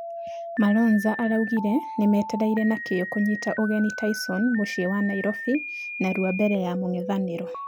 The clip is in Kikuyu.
Malonza araugire nĩmetereire na kĩo kũnyita ũgeni tyson mũciĩ wa nyairobi narua mbere ya mũngethanĩro.